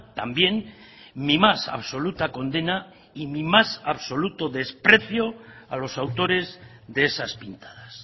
también mi más absoluta condena y mi más absoluto desprecio a los autores de esas pintadas